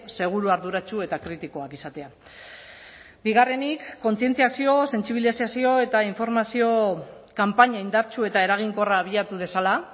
seguru arduratsu eta kritikoak izatea bigarrenik kontzientziazio sentsibilizazio eta informazio kanpaina indartsu eta eraginkorra abiatu dezala